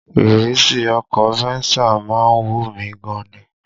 Ìrísí ọkọ̀ Venza má ń wù mí gan ni